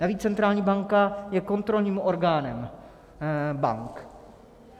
Navíc centrální banka je kontrolním orgánem bank.